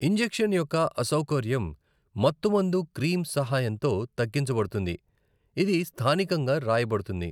Injection యొక్క అసౌకర్యం మత్తుమందు క్రీమ్ సహాయంతో తగ్గించబడుతుంది, ఇది స్థానికంగా రాయబడుతుంది.